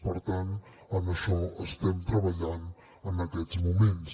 per tant en això estem treballant en aquests moments